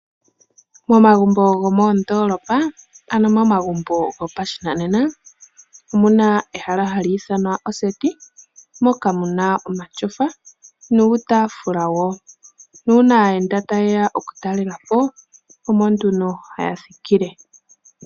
Momagumbo gomoondolopa ano momagumbo gopashinanena omuna ehala ndyoka hali ithanwa oseti moka muna omatyofa nuutaafula wo, nuuna aayenda okutalelapo omo nduno haya thikile.